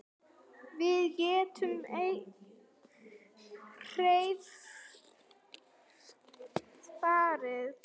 Við getum hvergi farið.